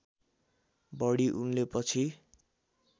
बढी उनले पछि